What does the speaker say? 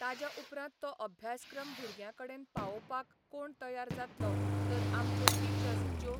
ताज्या उपरांत तो अभ्यासक्रम भुरग्यां कडेन पावोपाक कोण तयार जातलो तर आमच्यो टिचर्स ज्यो